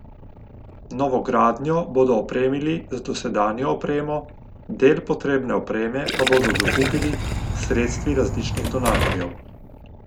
Novogradnjo bodo opremili z dosedanjo opremo, del potrebne opreme pa bodo dokupili s sredstvi različnih donatorjev.